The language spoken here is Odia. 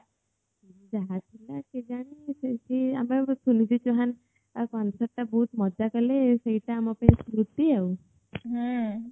ଯାହା ଥିଲା କେଜାଣି ସେଠି ଆମେ ସୁନିଧି ଚୌହାନ୍ ଆଉ concert ଟା ବହୁତ ମଜ଼ା କଲେ ସେଇଟା ଆମ ପାଇଁ ସ୍ମୃତି ଆଉ